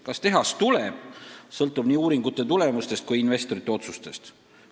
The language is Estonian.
Kas tehas tuleb, sõltub nii uuringute tulemustest kui ka investorite otsustest.